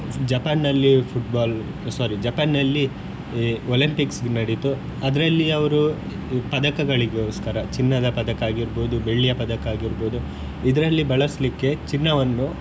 Japan ನಲ್ಲಿ Football sorry Japan ನಲ್ಲಿ Olympics ನಡಿತು ಅದರಲ್ಲಿ ಅವರು ಪದಕಗಳಿಗೋಸ್ಕರ ಚಿನ್ನದ ಪದಕ ಆಗಿರ್ಬೋದು, ಬೆಳ್ಳಿಯ ಪದಕ ಆಗಿರ್ಬೋದು ಇದರಲ್ಲಿ ಬಳಸ್ಲಿಕ್ಕೆ ಚಿನ್ನವನ್ನು.